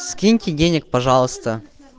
скиньте денег пожалуйста